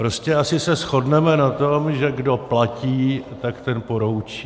Prostě se asi shodneme na tom, že kdo platí, tak ten poroučí.